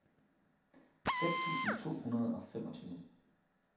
seks tusind to hundrede og femogtyve